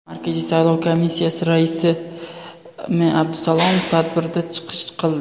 Markaziy saylov komissiyasi raisi M. Abdusalomov tadbirda chiqish qildi.